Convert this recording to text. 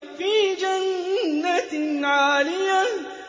فِي جَنَّةٍ عَالِيَةٍ